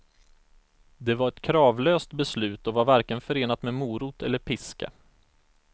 Det var ett kravlöst beslut och var varken förenat med morot eller piska.